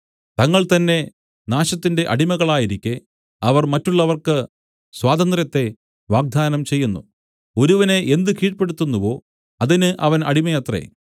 തങ്ങൾ തന്നെ നാശത്തിന്റെ അടിമകളായിരിക്കെ അവർ മറ്റുള്ളവർക്ക് സ്വാതന്ത്ര്യത്തെ വാഗ്ദത്തം ചെയ്യുന്നു ഒരുവനെ എന്ത് കീഴ്പെടുത്തുന്നുവോ അതിന് അവൻ അടിമയത്രേ